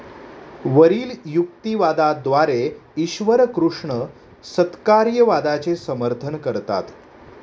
वरिल युक्तिवादाद्वारे ईश्वरकृष्ण सत्कार्यवादाचे समर्थन करतात.